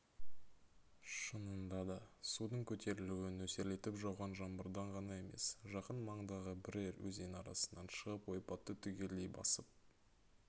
шынында да судың көтерілуі нөсерлетіп жауған жаңбырдан ғана емес жақын маңдағы бірер өзен арнасынан шығып ойпатты түгелдей басып